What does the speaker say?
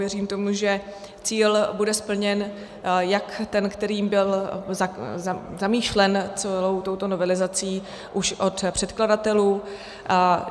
Věřím tomu, že cíl bude splněn, jak ten, který byl zamýšlen celou touto novelizací už od předkladatelů.